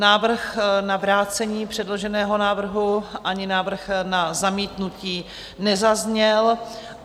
Návrh na vrácení předloženého návrhu ani návrh na zamítnutí nezazněl.